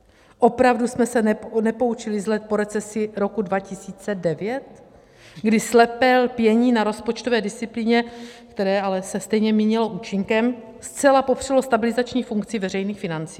Opravdu jsme se nepoučili z let po recesi roku 2009, kdy slepé lpění na rozpočtové disciplíně, které ale se stejně minulo účinkem, zcela popřelo stabilizační funkci veřejných financí?